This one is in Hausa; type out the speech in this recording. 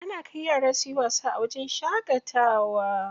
Ana kai yara suyi wasa a wajen shaƙatawa.